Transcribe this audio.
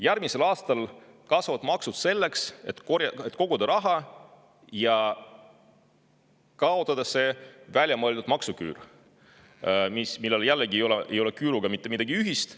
Järgmisel aastal kasvavad maksud selleks, et koguda raha ja kaotada see väljamõeldud maksuküür, millel ei ole küüruga mitte midagi ühist.